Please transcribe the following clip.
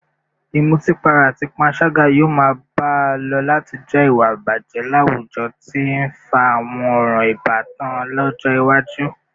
Ìmutípara àti panṣágà yóò máa bá a lọ láti jẹ́ ìwà ìbàjẹ́ láwùjọ tí ń fa àwọn ọ̀ràn ìbátan lọ́jọ́ iwájú